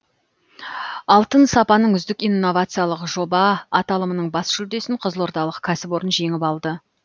алтын сапаның үздік инновациялық жоба аталымының бас жүлдесін қызылордалық кәсіпорын жеңіп алды